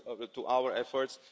to our efforts.